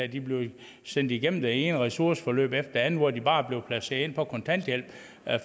de blev sendt igennem det ene ressourceforløb efter det andet hvor de bare blev placeret på kontanthjælp